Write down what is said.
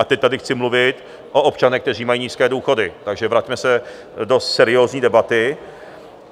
A teď tady chci mluvit o občanech, kteří mají nízké důchody, takže se vraťme do seriózní debaty.